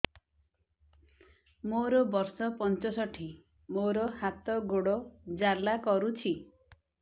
ମୋର ବର୍ଷ ପଞ୍ଚଷଠି ମୋର ହାତ ଗୋଡ଼ ଜାଲା କରୁଛି